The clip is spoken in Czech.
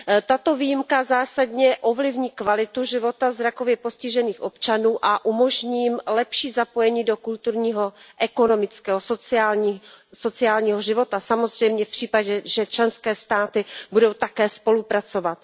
Tato výjimka zásadně ovlivní kvalitu života zrakově postižených občanů a umožní jim lepší zapojení do kulturního, ekonomického a sociálního života, samozřejmě v případě, že členské státy budou také spolupracovat.